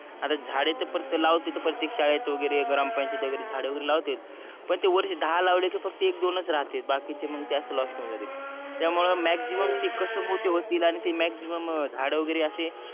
आता झाडे तर लावते ते प्रतेक शाळेत वागेरे ग्रामपंचायत वागेरे झाड वागेरे लवतेत पण ते वरचे दहा लवलेत की फक्त एक दोनच राहते बाकीचे म्हणजे ते आशे लॉस्ट हून जाते